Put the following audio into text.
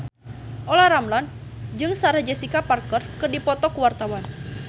Olla Ramlan jeung Sarah Jessica Parker keur dipoto ku wartawan